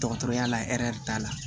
Dɔgɔtɔrɔya la hɛri t'a la